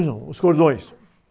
Não, os cordões.